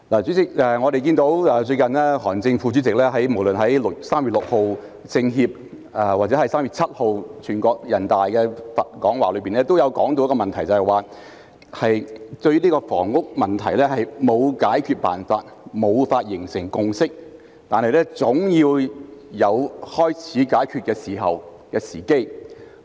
主席，我們看見最近韓正副總理無論在3月6日中國人民政治協商會議或3月7日全國人民代表大會會議的講話中，均有提到一個問題，也就是香港的房屋問題沒有解決辦法、無法形成共識，但總要有開始解決的時機。